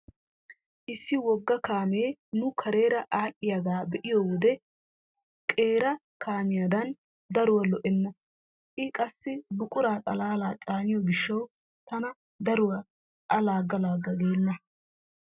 Issi wogga kaamee nu kareera aadhdhiyagaa be'iyo wode wode qeeri kaamiyadan daruwa lo'enna. I qassi buqura xalaala caaniyo gishshawu tana daruwa a laagga laagga geenna.